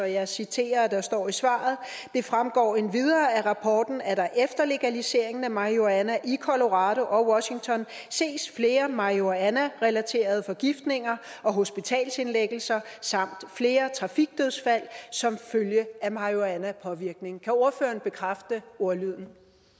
jeg citerer der står i svaret det fremgår endvidere af rapporten at der efter legaliseringen af marihuana i colorado og washington ses flere marihuana relaterede forgiftninger og hospitalsindlæggelser samt flere trafikdødsfald som følge af marihuana påvirkning kan ordføreren bekræfte ordlyden